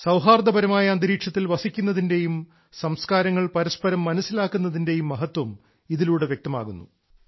സൌഹാർദ്ദപരമായ അന്തരീക്ഷത്തിൽ വസിക്കുന്നതിന്റെയും സംസ്കാരങ്ങൾ പരസ്പരം മനസ്സിലാക്കുന്നതിന്റെയും മഹത്വം ഇതിലൂടെ വ്യക്തമാകുന്നു